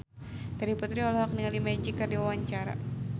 Terry Putri olohok ningali Magic keur diwawancara